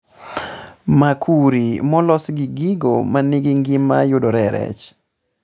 Makuri molos gi gigo manigi ngima yudore e rech